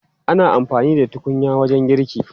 Ana amfani da tukunya wajen girki.